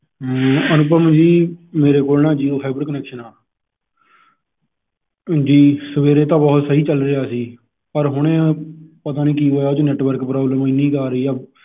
ਐਂ ਅਨੁਪਮ ਜੀ ਮੇਰੇ ਕੋਲ ਨਾ Jio Fiber Connection ਆ ਜੀ ਸਵੇਰੇ ਤਾਂ ਬਹੁਤ ਸਹੀ ਚੱਲ ਰਿਹਾ ਸੀ ਪਰ ਹੁਣੇ ਪਤਾ ਨੀ ਕਿ ਹੋਇਆ ਓਹਦੇ ਚ network problem ਏਨੀ ਕੁ ਰਹੀ ਆ